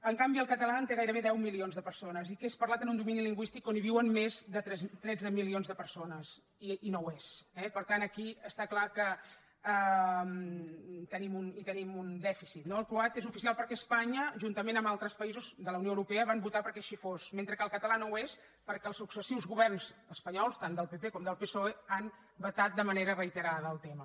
en canvi el català té gairebé deu milions de persones i és parlat en un domini lingüístic on viuen més de tretze milions de persones i no ho és eh per tant aquí està clar que tenim un dèficit no el croat és oficial perquè espanya juntament amb altres països de la unió europea va votar perquè així fos mentre que el català no ho és perquè els successius governs espanyols tant del pp com del psoe han vetat de manera reiterada el tema